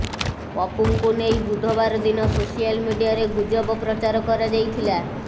ପପୁଙ୍କୁ ନେଇ ବୁଧବାର ଦିନ ସୋସିଆଲ ମିଡିଆରେ ଗୁଜବ ପ୍ରଚାର କରାଯାଇଥିଲା